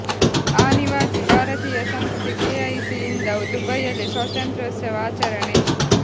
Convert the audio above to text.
ಆನಿವಾಸಿ ಭಾರತೀಯ ಸಂಸ್ಥೆ K I C ಯಿಂದ ದುಬೈಯಲ್ಲಿ ಸ್ವಾತಂತ್ರ್ಯೋತ್ಸವ ಆಚರಣೆ